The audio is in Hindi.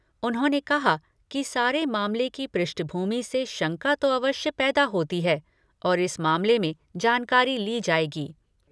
उन्होंने कहा कि सारे मामले की पृष्ठभूमि से शंका तो अवश्य पैदा होती है और इस मामले में जानकारी ली जाएगी।